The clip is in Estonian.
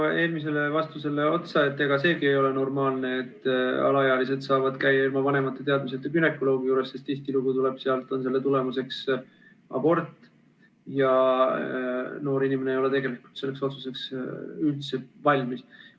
Lisan eelmisele vastusele otsa, et ega seegi ole normaalne, et alaealised saavad käia ilma vanemate teadmiseta günekoloogi juures, sest tihtilugu on selle tagajärjeks abort, kuid noor inimene ei ole tegelikult selliseks otsuseks üldse valmis.